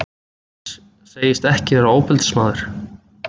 Segist ekki vera ofbeldismaður.